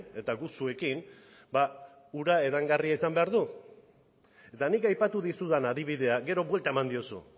eta guk zuekin ura edangarria izan behar du eta nik aipatu dizudan adibidea gero buelta eman diozu